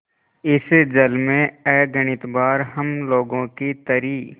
इस जल में अगणित बार हम लोगों की तरी